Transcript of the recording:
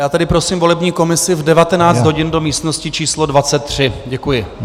Já tedy prosím volební komisi v 19 hodin do místnosti číslo 23. Děkuji.